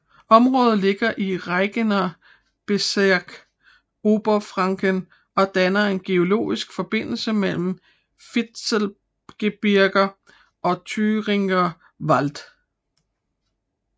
Området ligger i Regierungsbezirk Oberfranken og danner en geologisk forbindelse mellem Fichtelgebirge og Thüringer Wald